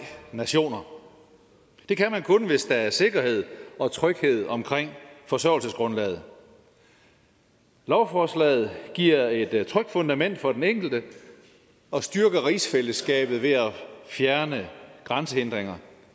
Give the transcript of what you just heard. nationer det kan man kun hvis der er sikkerhed og tryghed omkring forsørgelsesgrundlaget lovforslaget giver et trygt fundament for den enkelte og styrker rigsfællesskabet ved at fjerne grænsehindringer